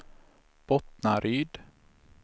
Bottnaryd